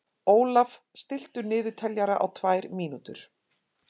Ólaf, stilltu niðurteljara á tvær mínútur.